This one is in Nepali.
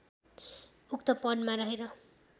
उक्त पदमा रहेर